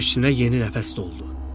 Köksünə yeni nəfəs doldu.